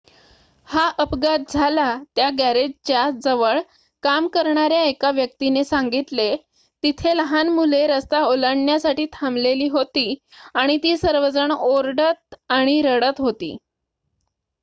"हा अपघात झाला त्या गॅरेजच्या जवळ काम करणाऱ्या एका व्यक्तिने सांगितलेः "तिथे लहान मुले रस्ता ओलांडण्यासाठी थांबलेली होती आणि ती सर्वजण ओरडत आणि रडत होती.""